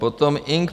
Potom Ing.